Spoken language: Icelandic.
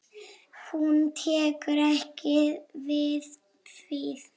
Hún tekur ekki við því.